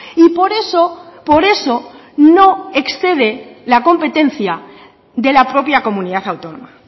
y por eso por eso no excede la competencia de la propia comunidad autónoma